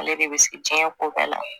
Ale de bɛ se diɲɛ ko bɛɛ la